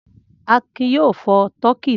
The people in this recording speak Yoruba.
Akin yóò fọ tọkí náà!